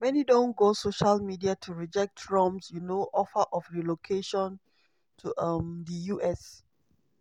many don go social media to reject trump um offer of relocating to um di us.